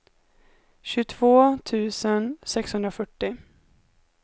tjugotvå tusen sexhundrafyrtio